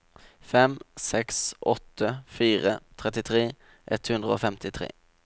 fem seks åtte fire trettitre ett hundre og femtitre